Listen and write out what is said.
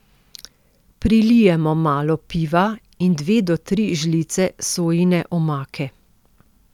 Prilijemo malo piva in dve do tri žlice sojine omake.